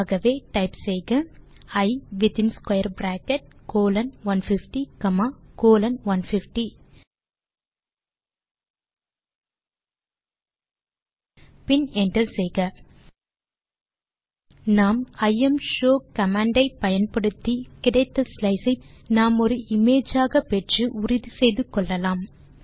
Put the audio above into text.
ஆகவே டைப் செய்க I within square bracket colon 150 comma colon 150 பின் என்டர் செய்க நாம் யூஎஸ்இ தே இம்ஷோ கமாண்ட் ஆல் கிடைத்த ஸ்லைஸ் ஐ நாம் ஒரு இமேஜ் ஆக பெற்று உறுதி செய்து கொள்ளலாம்